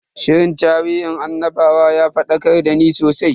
Shirin tarihin annabawan ya fadakar dani sosai.